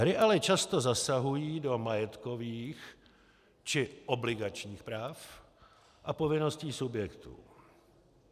Hry ale často zasahují do majetkových či obligačních práv a povinností subjektů.